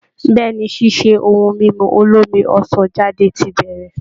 Bẹ́ẹ̀ ni, ṣíṣe ohun mímu olómi ọsàn jáde ti bẹ̀rẹ̀